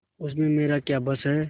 उसमें मेरा क्या बस है